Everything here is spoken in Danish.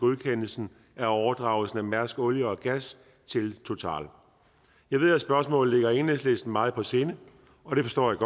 godkendelsen af overdragelsen af mærsk olie og gas til total jeg ved at spørgsmålet ligger enhedslisten meget på sinde og det forstår jeg